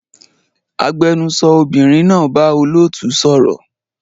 Agbẹnusọ obìnrin náà bá olóòtú sọ̀rọ̀